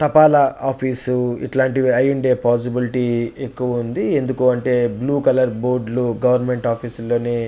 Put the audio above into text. తపాలా ఆఫీస్ ఇట్లా అయుండే పోసిబిలిటీస్ ఎక్కువ ఉంది ఎందుకంటే బ్లూ కలర్ బోర్డు లు గవర్మెంట్ ఆఫీస్ లోని--